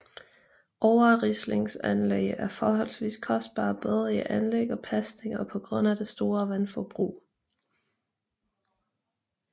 Overrislingsanlæg er forholdsvis kostbare både i anlæg og pasning og på grund af det store vandforbrug